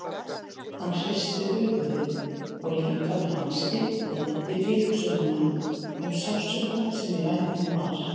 Hann hristi höfuðið og líkami hans stífnaði við tilhugsunina um sársaukann sem í vændum var.